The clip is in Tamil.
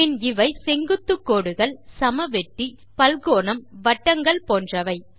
பின் இவை செங்குத்து கோடுகள் சமவெட்டி பல்கோணம் வட்டங்கள் போன்றன